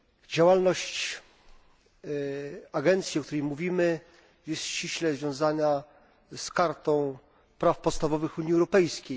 Działalność agencji, o której mówimy, jest ściśle związana z Kartą Praw Podstawowych Unii Europejskiej.